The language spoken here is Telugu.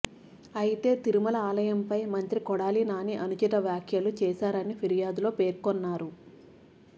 అయితే తిరుమల ఆలయంపై మంత్రి కొడాలి నాని అనుచిత వ్యాఖ్యలు చేశారని ఫిర్యాదులో పేర్కొన్నారు